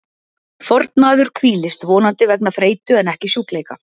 Fornmaður hvílist, vonandi vegna þreytu en ekki sjúkleika.